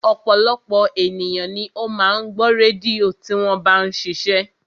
Ọ̀pọ̀lọpọ̀ ènìyàn ni ó máa ń gbọ́ rédíò tí wọ́n bá ń ṣiṣẹ́